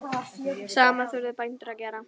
Sama þurfi bændur að gera.